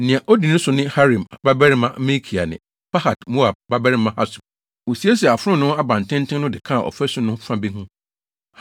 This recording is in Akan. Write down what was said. Nea odi so ne Harim babarima Malkia ne Pahat-Moab babarima Hasub. Wosiesiee Afononoo Abantenten no de kaa ɔfasu no fa bi ho.